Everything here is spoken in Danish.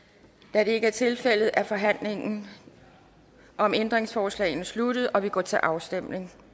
da det ikke er tilfældet er forhandlingen om ændringsforslagene sluttet og vi går til afstemning